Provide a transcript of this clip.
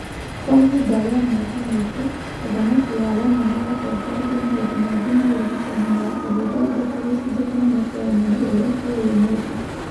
Kwa ihinda rĩa mĩaka mĩingĩ, ũthamaki wa Roma nĩ watongoririe maũndũ maingĩ ma ũrigitani na ũgĩthondeka gĩcunjĩ kĩnene kĩa ũmenyo ũrĩa tũĩ ũmũthĩ.